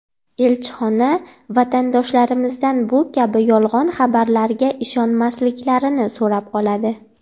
Elchixona vatandoshlarimizdan bu kabi yolg‘on xabarlarga ishonmasliklarini so‘rab qoladi.